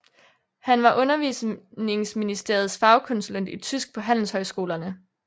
Han var Undervisningsministeriets fagkonsulent i tysk på handelshøjskolerne